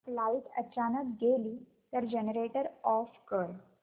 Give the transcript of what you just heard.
light अचानक गेली तर जनरेटर ऑफ कर